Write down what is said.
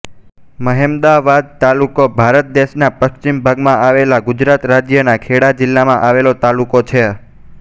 મહેમદાવાદ તાલુકો ભારત દેશના પશ્ચિમ ભાગમાં આવેલા ગુજરાત રાજ્યના ખેડા જિલ્લામાં આવેલો તાલુકો છે